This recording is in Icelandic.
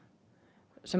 sem